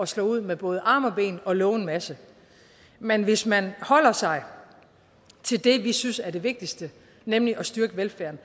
slå ud med både arme og ben og love en masse men hvis man holder sig til det vi synes er det vigtigste nemlig at styrke velfærden